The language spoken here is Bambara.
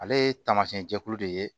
Ale ye taamasiyɛn jɛkulu de ye